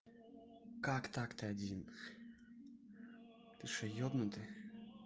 как так ты один ты что ебнутый